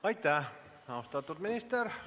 Aitäh, austatud minister!